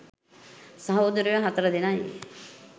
සහෝදරයො හතර දෙනයි.